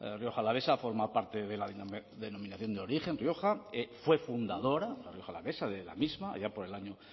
rioja alavesa forma parte de la denominación de origen rioja fue fundadora la rioja alavesa de la misma allá por el año